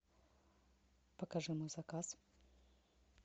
покажи мой заказ